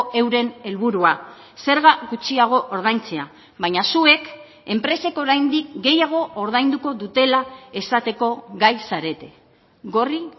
euren helburua zerga gutxiago ordaintzea baina zuek enpresek oraindik gehiago ordainduko dutela esateko gai zarete gorri